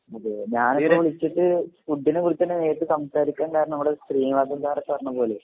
അതെ ഞാനിപ്പോ വിളിച്ചിട്ട് ഫുഡിനെ കുറിച്ചെന്നെ നേരിട്ട് സംസാരിക്കാൻ കാരണം